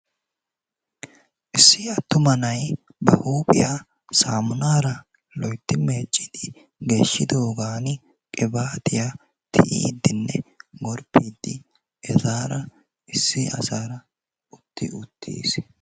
Issi attuma na"ayi ba huuphiya saammunaara loytti meeccidi geeshshidoogan qibaatiya tiyiiddinne gorppiiddi etaara issi asaara utti uttis.